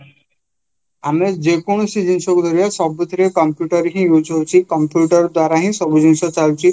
ଆମେ ଯେକୌଣସି ଜିନିଷ ଦେଖିବା ସବୁଥିରେ computer ହିଁ use ହଉଚି computer ଦ୍ଵାରାହିଁ ସବୁଜିନିଷ ଚାଲିଛି